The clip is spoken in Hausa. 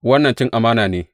Wannan cin amana ne!